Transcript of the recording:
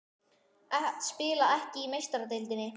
Að spila ekki í Meistaradeildinni?